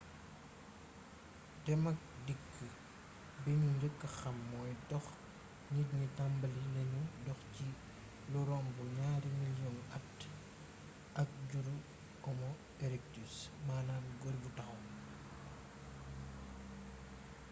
dem ak dikk bi ñu njëk xam moy dox nit ñi tambali neñu dox ci lu romb ñari milions at ak juru homo erectus maanaam gor bu taxaw